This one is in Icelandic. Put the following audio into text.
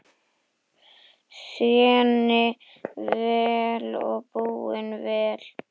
Þéni vel og búi vel.